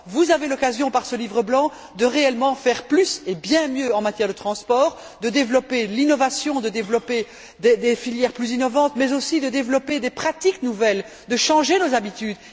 Vous avez l'occasion, avec ce livre blanc, de réellement faire plus et bien mieux en matière de transport, de développer l'innovation, de développer des filières plus innovantes mais aussi de développer des pratiques nouvelles, de changer nos habitudes.